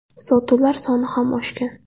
Sotuvlar soni ham oshgan.